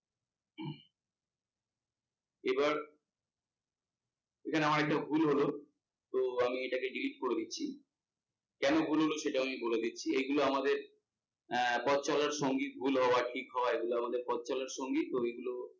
এবার এখানে আমার একটা ভুল হল, তো আমি এটাকে delete করে দিচ্ছি, কেন ভুল হল সেটাও আমি বলে দিচ্ছি। এগুলো আমাদের পথ চলার সঙ্গী ভুল হওয়া ঠিক হওয়া এগুলো আমাদের পথ চলার সঙ্গী তো এগুলো